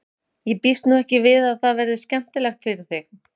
Ég býst nú ekki við að það verði skemmtilegt fyrir þig.